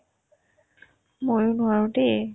ময়ো নোৱাৰো দে